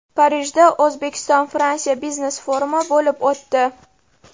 Parijda O‘zbekistonFransiya biznes-forumi bo‘lib o‘tdi.